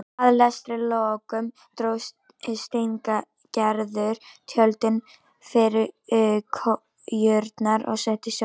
Að lestri loknum dró Steingerður tjöldin fyrir kojurnar og settist hjá þeim.